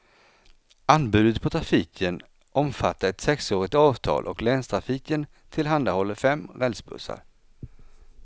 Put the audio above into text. Anbudet på trafiken omfattar ett sexårigt avtal och länstrafiken tillhandahåller fem rälsbussar.